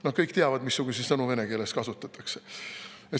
No kõik teavad, missuguseid sõnu vene keeles kasutatakse.